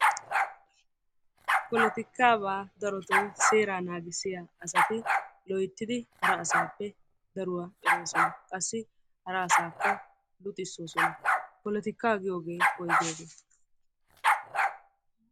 Polotikaabaa darotoo seeraa naagissiya asati loyttidi hara asaappe daruwa eroosona. Qassi hara asaakka luxissoosona. Polotikaa giyogee woygiyogee?